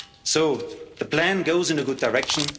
and cohesion. So the plan goes in